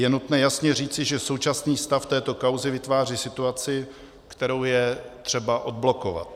Je nutné jasně říci, že současný stav této kauzy vytváří situaci, kterou je třeba odblokovat.